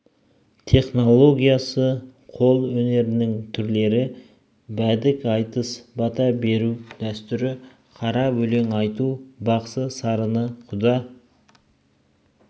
технологиясы қол өнерінің түрлері бәдік айтыс бата беру дәстүрі қара өлең айту бақсы сарыны құда